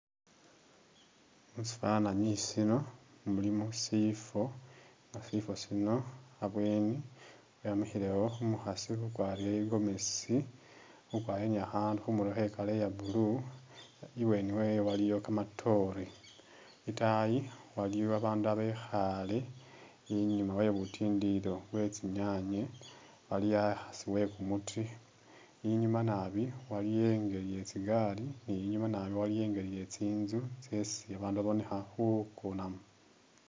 Musifananyi sino mulimo sifo nga sifo sino abweni wemikhilewo umukhaasi ukwarile i'gomesi ukwarile ni khakhandu khumurwe khe'color ya blue i'bweni wewe waliyo kamatoore, i'taayi waliyo babandu a'bekhaale i'nyuma wabutindilo bwetsinyanye waliwo a'asi e kumuti i'nyuma naabi waliyo i'ngeli ye tsi gaari ne i'nyuma naabi waliyo i'ngeli ye tsi'nzu tsesi babandu babonekha khukonamo